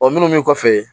O minnu min kɔfɛ